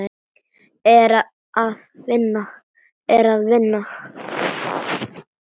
Er það vinnan?